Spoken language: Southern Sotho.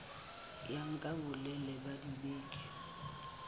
ya nka bolelele ba dibeke